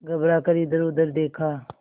घबरा कर इधरउधर देखा